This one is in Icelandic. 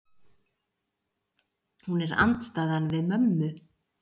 Hún er andstæðan við mömmu.